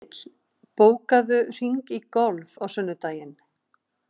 Engill, bókaðu hring í golf á sunnudaginn.